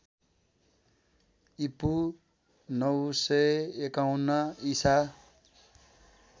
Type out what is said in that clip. ईपू ९५१ ईसा